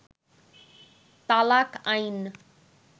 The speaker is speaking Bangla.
তালাক আইন